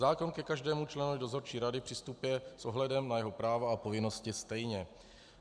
Zákon ke každému členovi dozorčí rady přistupuje s ohledem na jeho práva a povinnosti stejně.